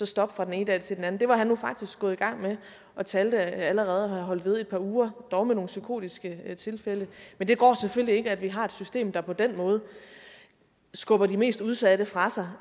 stoppe fra den ene dag til den anden det var han nu faktisk gået i gang med og talte at han allerede havde holdt ved et par uger dog med nogle psykotiske tilfælde men det går selvfølgelig ikke at vi har et system der på den måde skubber de mest udsatte fra sig